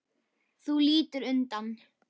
Þú lítur undan.